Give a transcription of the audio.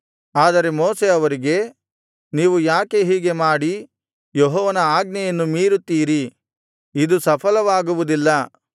ಆದರೆ ಮೋಶೆ ಅವರಿಗೆ ನೀವು ಯಾಕೆ ಹೀಗೆ ಮಾಡಿ ಯೆಹೋವನ ಆಜ್ಞೆಯನ್ನು ಮೀರುತ್ತೀರಿ ಇದು ಸಫಲವಾಗುವುದಿಲ್ಲ